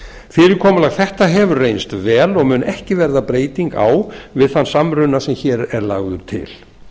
fyrirkomulag þetta hefur reynst vel og mun ekki verða breyting á við þann samruna sem hér er lagður til